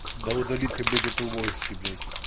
да удали ты блять эту войси блять